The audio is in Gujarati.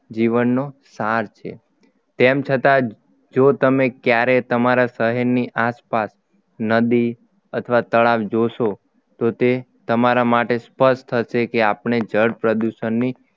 જીવનનો સાર છે તેમ છતાં જો તમે ક્યારેય તમારા શહેરની આસપાસ નદી અથવા તળાવ જોશો તો તે તમારા માટે સ્પષ્ટ થશે કે આપણે જળ પ્રદૂષણની